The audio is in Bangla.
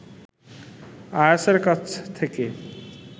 আয়াছের কাছ থেকে